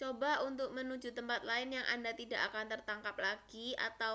coba untuk menuju tempat lain yang anda tidak akan tertangkap lagi atau